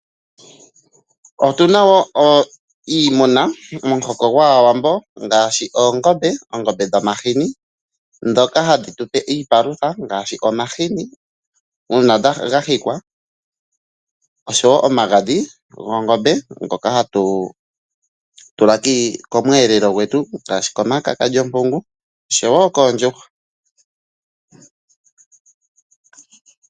Otuna wo iimuna momuhoko gwaawambo ngaashi oongombe, oongombe dhomahini dhoka hadhi tupe iipalutha ngaashi omahini uuna gahikwa oshowo omagadhi goongombe ngoka hatu tula komweelelo gwetu ngaashi komakaka lyompungu oshowo koondjuhwa.